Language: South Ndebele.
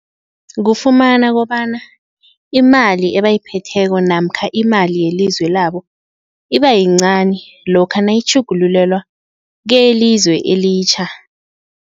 Kufumana kobana imali ebayiphetheko namkha imali yelizwe labo ibayincani lokha nayitjhugululelwa keyelizwe elitjha.